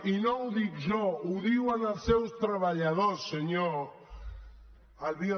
i no ho dic jo ho diuen els seus treballadors senyor albiol